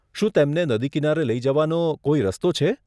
શું તેમને નદી કિનારે લઈ જવાનો કોઈ રસ્તો છે?